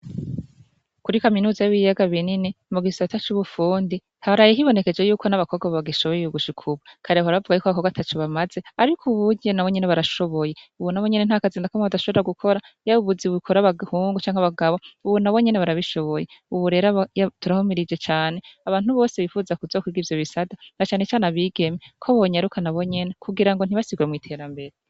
Kuri kaminuza y'ibiyaga binini mugisata c'ubufundi haraye hibonekeje yuko n'abakobwa bagishoboye gushika ubu kare bahora bavuga ko abakobwa ataco bamaze, ariko ubu burya nabonyene barashoboye, ubu nabonyene ntakazi nakamwe badashobora gukora yaba ubuzi bukora bahungu canke abagabo ubu nabonyene barabishoboye ubu rero turahumirije cane abantu bose bifuza kuzokwiga ivyo bisata na canecane abigeme ko bonyaruka nabonyene kugira ngo ntibasigwe mw'iterambere.